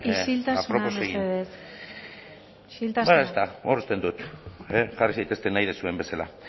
isiltasuna burlarik apropos egin hor uzten dut jarri zaitezten nahi duzuen bezala